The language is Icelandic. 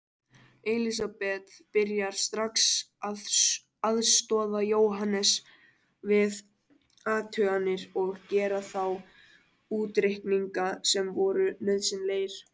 Elisabeth byrjaði strax að aðstoða Jóhannes við athuganirnar og gera þá útreikninga sem voru nauðsynlegir.